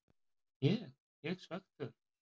Ég ég svekktur?